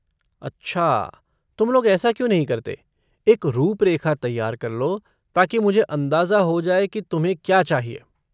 अच्छा तुम लोग ऐसा क्यों नहीं करते, एक रूपरेखा तैयार कर लो ताकि मुझे अंदाजा हो जाए कि तुम्हें क्या चाहिए।